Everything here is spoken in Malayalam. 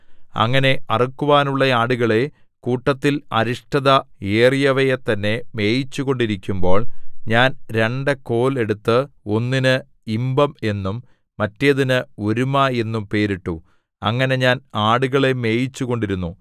അങ്ങനെ അറുക്കുവാനുള്ള ആടുകളെ കൂട്ടത്തിൽ അരിഷ്ടത ഏറിയവയെ തന്നെ മേയിച്ചു കൊണ്ടിരിക്കുമ്പോൾ ഞാൻ രണ്ടു കോൽ എടുത്ത് ഒന്നിന് ഇമ്പം എന്നും മറ്റേതിന് ഒരുമ എന്നും പേരിട്ടു അങ്ങനെ ഞാൻ ആടുകളെ മേയിച്ചുകൊണ്ടിരുന്നു